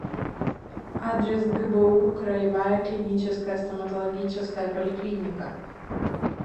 адрес гбу краевая клиническая стоматологическая поликлиника